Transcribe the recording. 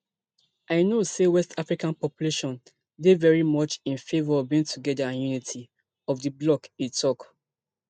i know say west african population dey very much in favour of being togeda and unity of di bloc e tok